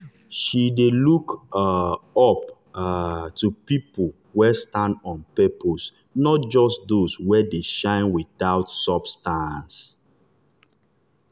she dey look um up um to people wey stand on purpose not just those wey dey shine without substance.